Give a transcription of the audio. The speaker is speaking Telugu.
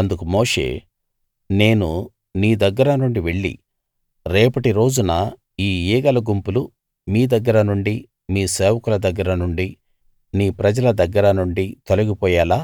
అందుకు మోషే నేను నీ దగ్గర నుండి వెళ్లి రేపటి రోజున ఈ ఈగల గుంపులు మీ దగ్గర నుండి మీ సేవకుల దగ్గర నుండి నీ ప్రజల దగ్గర నుండి తొలగిపోయేలా